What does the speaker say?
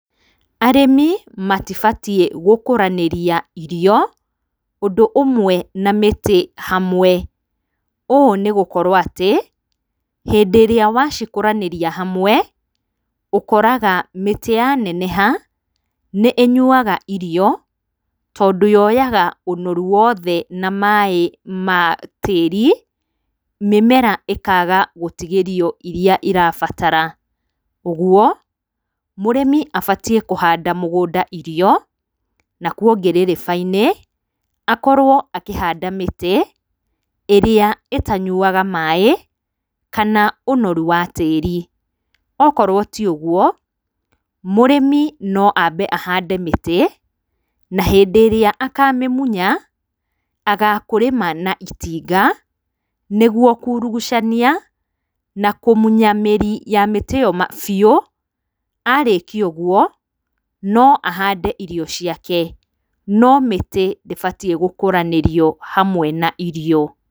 Arĩmi matibatiĩ gũkũranĩria irio ũndũ ũmwe na mĩtĩ hamwe, ũũ nĩgũkorwo atĩ, hĩndĩ ĩrĩa wacikũranĩria hamwe, ũkoraga atĩ mĩtĩ yaneneha, nĩĩnyuaga irio tondũ yoyaga ũnoru woothe na maĩĩ ma tĩĩri mĩmera ĩkaaga gũtigĩrio iria irabatara, ũguo, mũrĩmi abatiĩ kũhaanda mũgũnda irio, nakuo ngĩrĩrĩba-inĩ, akorwo akihanda mĩtĩ ĩrĩa ĩtanyuaga maĩĩ, kana ũnoru wa tĩĩri, okorwo tiũguo, mũrĩmi no ambe ahande mĩtĩ, na hĩndĩ ĩrĩa akamĩmunya agakũrĩma na itinga, nĩguo kũrũgucania na kũmunya mĩri ya mĩtĩ ĩyo biũ, arĩkia ũguo no ahande irio ciake, no mĩtĩ ndĩbatiĩ gũkũranĩrio hamwe na irio.